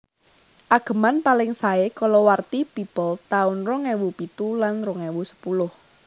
Ageman paling saé kalawarti People taun rong ewu pitu lan rong ewu sepuluh